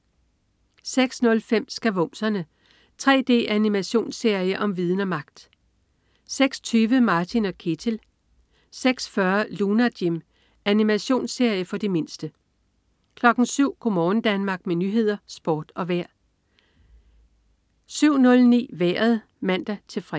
06.05 Skavumserne. 3D-animationsserie om viden og magt! (man-fre) 06.20 Martin & Ketil (man-fre) 06.40 Lunar Jim. Animationsserie for de mindste (man-fre) 07.00 Go' morgen Danmark med nyheder, sport og vejr (man-fre) 07.00 Nyhederne og Sporten (man-fre) 07.09 Vejret (man-fre)